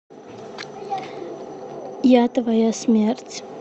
я твоя смерть